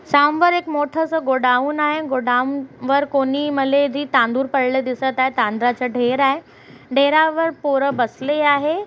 एक मोठंसं गोडाउन आहे गोडाउन वर कोणीही तांदूळ पडलेले दिसत आहे तांदळाचा ढेर आहे ढेरावर पोरं बसली आहेत.